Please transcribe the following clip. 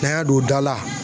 N'an y'a don da la.